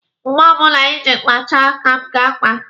Mgbe ọbụla iji kpachaa ka m ga-akpa.